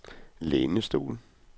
lænestol